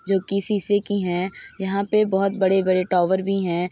जो कि शीशे की हैं। यहाँ पे बहुत बड़े बड़े टॉवर भी है।